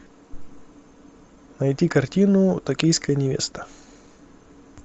найти картину токийская невеста